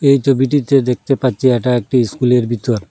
এই ছবিটিতে দেখতে পাচ্ছি এটা একটি স্কুলের ভিতর।